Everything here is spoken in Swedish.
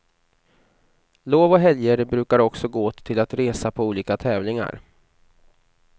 Lov och helger brukar också gå åt till att resa på olika tävlingar.